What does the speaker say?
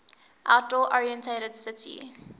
outdoor oriented city